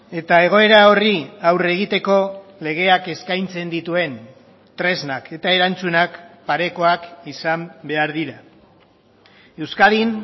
eta egoera horri aurre egiteko legeak eskaintzen dituen tresnak eta erantzunak parekoak izan behar dira euskadin